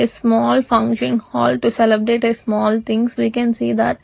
a small function hall to celebrate a small things we can see that.